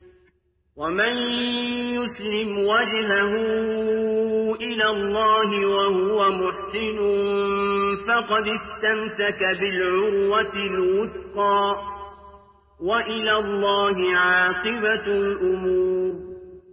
۞ وَمَن يُسْلِمْ وَجْهَهُ إِلَى اللَّهِ وَهُوَ مُحْسِنٌ فَقَدِ اسْتَمْسَكَ بِالْعُرْوَةِ الْوُثْقَىٰ ۗ وَإِلَى اللَّهِ عَاقِبَةُ الْأُمُورِ